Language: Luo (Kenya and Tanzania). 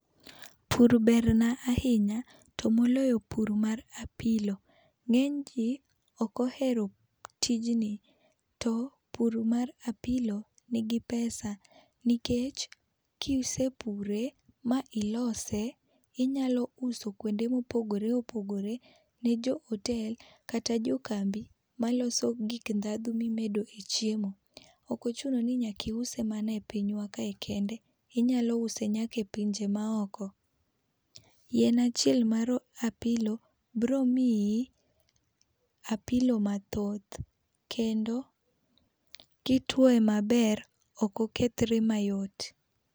Pur ber na ahinya to moloyo pur mar apilo, ng'eny ji ok ohero tijni, to pur mar apilo ni gi pesa nikech ki isepure ma iloso inyalo uso kuonde ma opogore opogire ne jo hotel kata jo kambi ma loso gik dhandhu ma imide e chiemo. Ok ochuno ni nyaka iuse e pinywa ka e kende inyalo use nyaka e pinje ma oko. Yien achiel mar apilo biro miyi apilo mathoth kendo ki ituoye maber ok okethre mayot.